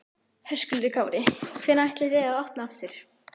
Höskuldur Kári: Hvenær ætlið þið að opna aftur?